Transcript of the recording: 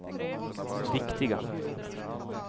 viktiga